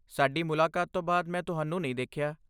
ਸਾਡੀ ਮੁਲਾਕਾਤ ਤੋਂ ਬਾਅਦ ਮੈਂ ਤੁਹਾਨੂੰ ਨਹੀਂ ਦੇਖਿਆ।